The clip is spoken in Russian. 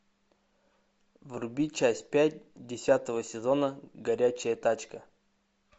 вруби часть пять десятого сезона горячая тачка